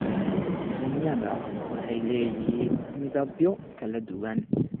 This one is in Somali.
Yaanyada waxay leeyihiin midabyo kala duwan.